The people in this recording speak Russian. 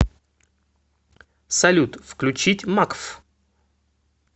салют включить макф